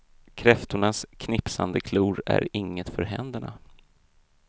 Kräftornas knipsande klor är inget för händerna.